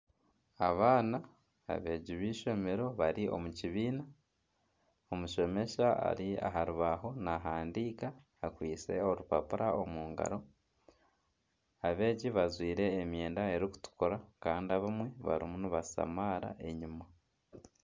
Abaana abeegi b'eishomero bari omu kibiina, omushomesa ari aha rubaaho nahandiika akwitse orupapura omu ngaro. Abeegi bajwire emyenda erikutukura kandi abamwe barimu nibashamaara enyima.